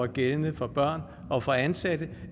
gældende for børn og for ansatte